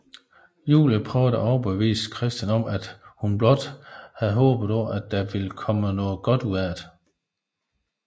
Julie prøver at overbevise Christian om at hun blot havde håbet at der ville komme noget godt ud af det